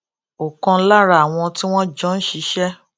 òkan lára àwọn tí wón jọ ń ṣiṣé